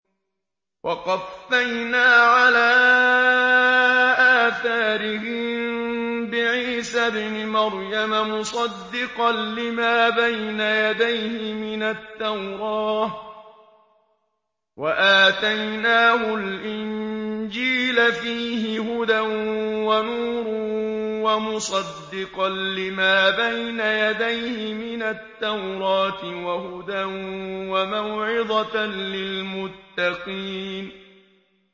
وَقَفَّيْنَا عَلَىٰ آثَارِهِم بِعِيسَى ابْنِ مَرْيَمَ مُصَدِّقًا لِّمَا بَيْنَ يَدَيْهِ مِنَ التَّوْرَاةِ ۖ وَآتَيْنَاهُ الْإِنجِيلَ فِيهِ هُدًى وَنُورٌ وَمُصَدِّقًا لِّمَا بَيْنَ يَدَيْهِ مِنَ التَّوْرَاةِ وَهُدًى وَمَوْعِظَةً لِّلْمُتَّقِينَ